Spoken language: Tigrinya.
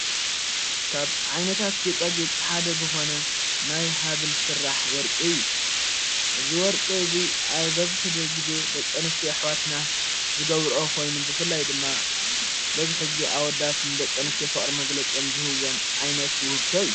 ካብ ዓይነታት ጌጣ ጌጥ ሓደ ዝኾነ ናይ ሃብል ሥራሕ ወርቂ እዩ እዝ ወርቂ እዙይ ኣብ በዝሕ ጊዜ ደቂ አንስትዮ ኣኅዋትና ዝገብርኦ ኾይኑ ብፍላይ ድማ በብዝሕ ጊዜ ኣወዳት ንደቅ አንስትዮ ፍቕሪ መገለጺኦም ዝህወን ዓይነት ውህብቶ እዩ::